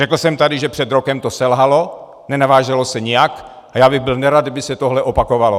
Řekl jsem tady, že před rokem to selhalo, nenavázalo se nijak, a já bych byl nerad, kdyby se tohle opakovalo.